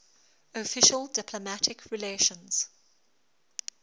official diplomatic relations